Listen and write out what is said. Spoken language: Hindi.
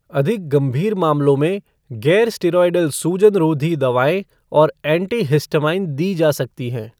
अधिक गंभीर मामलों में गैर स्टेरॉयडल सूजनरोधी दवाएँ और एंटीहिस्टामाइन दी जा सकती हैं।